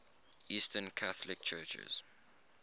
eastern catholic churches